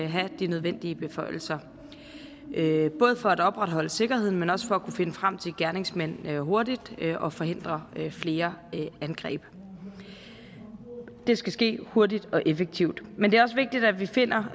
havde de nødvendige beføjelser både for at opretholde sikkerheden men også for at kunne finde frem til gerningsmændene hurtigt og forhindre flere angreb det skal ske hurtigt og effektivt men det er også vigtigt at vi finder